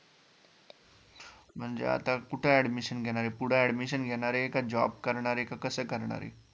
म्हणजे आता कुठं Admission घेणारे, पुढं Admission घेणारे का Job करणारे का? कसे करणारे?